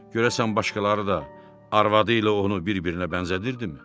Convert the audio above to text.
Görəsən başqaları da arvadı ilə onu bir-birinə bənzədirdimi?